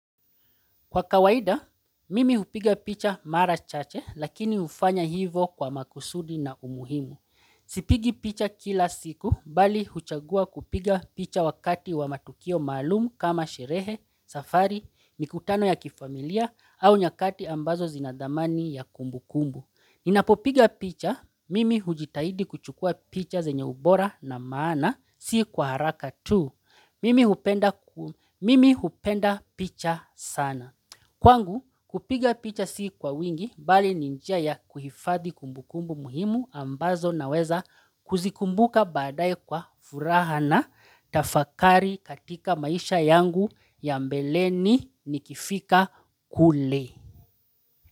Kwa kawaida, mimi hupiga picha mara chache, lakini ufanya hivo kwa makusudi na umuhimu. Sipigi picha kila siku, mbali huchagua kupiga picha wakati wa matukio maalumu kama sherehe, safari, mikutano ya kifamilia, au nyakati ambazo zinadhamani ya kumbu kumbu. Ninapopiga picha, mimi hujitahidi kuchukua picha zenye ubora na maana, si kwa haraka tu mimi hupenda Mimi hupenda picha sana. Kwangu kupiga picha sii kwa wingi bali ni njia ya kuhifadhi kumbukumbu muhimu ambazo naweza kuzikumbuka baadaye kwa furaha na tafakari katika maisha yangu ya mbeleni nikifika kule.